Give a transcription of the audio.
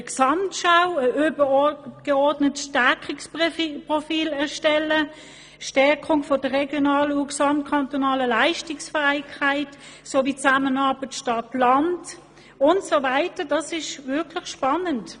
Eine Gesamtschau, ein übergeordnetes Stärkeprofil, die Stärkung der regionalen und der kantonalen Leistungsfähigkeit sowie die Zusammenarbeit von Stadt und Land und so weiter sind wirklich spannend.